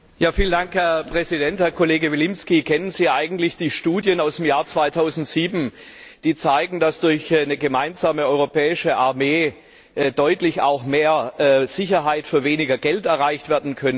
Herr Präsident! Herr Kollege Vilimsky, kennen Sie eigentlich die Studien aus dem Jahr 2007, die zeigen, dass durch eine gemeinsame europäische Armee auch deutlich mehr Sicherheit für weniger Geld erreicht werden könnte?